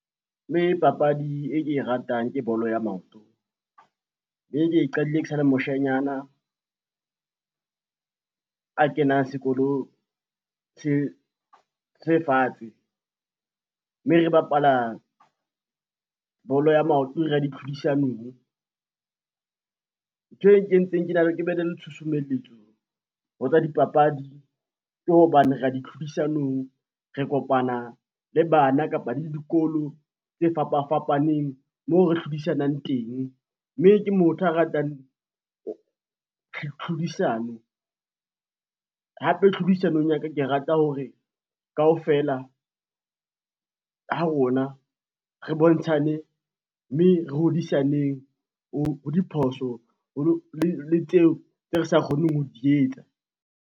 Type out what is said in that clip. Mme papadi e ke e ratang ke bolo ya maoto mme ke e qadile ke sale moshanyana, a kenang sekolo se fatshe mme re bapala bolo ya maoto re ya di tlhodisanong. Ntho e nkentseng ke ba ne le tshusumeletso ho tsa dipapadi ke hobane re ya di tlhodisanong re kopana le bana kapa le le dikolo tse fapafapaneng mo re hlodisanang teng, mme ke motho a ratang tlhodisano hape tlhodisanong ya ka, ke rata hore kapfela ha rona re bontshane, mme re hodisaneng ho diphoso le tseo tse re sa kgoneng ho di etsa.